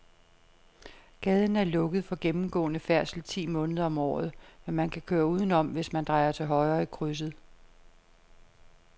Gaden er lukket for gennemgående færdsel ti måneder om året, men man kan køre udenom, hvis man drejer til højre i krydset.